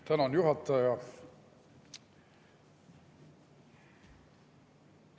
Tänan, juhataja!